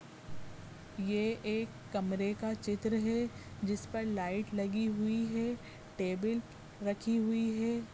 ये एक कमरे का चित्र है जिस पर लाइट लगी हुई है टेबल रखी हुई है।